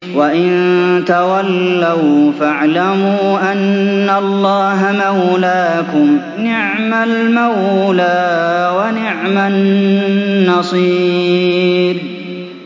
وَإِن تَوَلَّوْا فَاعْلَمُوا أَنَّ اللَّهَ مَوْلَاكُمْ ۚ نِعْمَ الْمَوْلَىٰ وَنِعْمَ النَّصِيرُ